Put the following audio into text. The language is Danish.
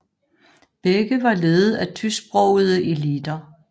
Begge var ledet af tysksprogede eliter